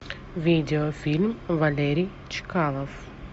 видеофильм валерий чкалов